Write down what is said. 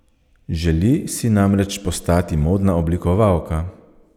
Želi si namreč postati modna oblikovalka.